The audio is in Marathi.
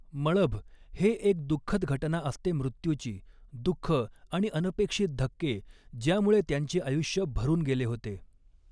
मळभ हे एक दुःखद घटना असते मृत्यूची, दुःख आणि अनपेक्षित धक्के, ज्यामुळे त्यांचे आयुष्य भरून गेले होते.